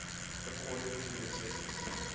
according to necessity